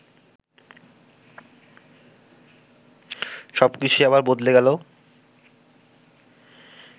সব কিছুই আবার বদলে গেল